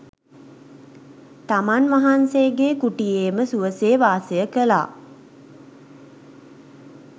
තමන් වහන්සේගේ කුටියේම සුවසේ වාසය කළා.